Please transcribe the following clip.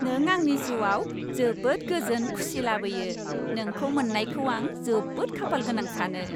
नों आंनि जिउआव जोबोद गोजोन खुसि लाबोयो। नोंखौ मोननायखौ आं जोबोद खाफालगोनां सानो।